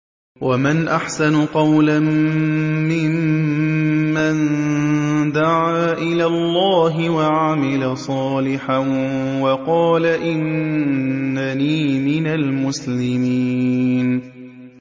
وَمَنْ أَحْسَنُ قَوْلًا مِّمَّن دَعَا إِلَى اللَّهِ وَعَمِلَ صَالِحًا وَقَالَ إِنَّنِي مِنَ الْمُسْلِمِينَ